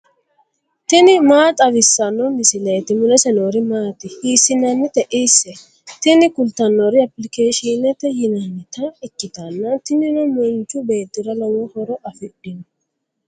tini maa xawissanno misileeti ? mulese noori maati ? hiissinannite ise ? tini kultannori appilikeeshiinete yinannita ikkitanna tinino manchu beettira lowo horo afidhino.